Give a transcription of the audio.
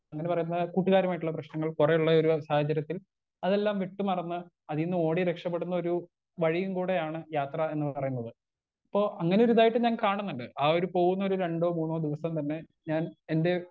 Speaker 1 അങ്ങനെ പറയുന്ന കൂട്ടുകാരുമായിട്ടുള്ള പ്രശ്നങ്ങൾ കൊറേ ഉള്ള ഈ ഒരു സാഹചര്യത്തിൽ അതെല്ലാം വിട്ട് മറന്ന് അതീന്നോടി രക്ഷപ്പെടുന്നൊരു വഴിയും കൂടെയാണ് യാത്രാന്ന് പറയുന്നത് ഇപ്പൊ അങ്ങനൊരു ഇതായിട്ട് ഞാൻ കാണുന്നുണ്ട് ആ ഒര് പോകുന്നൊരു രണ്ടോ മൂന്നോ ദിവസം തന്നെ ഞാൻ എന്റെ.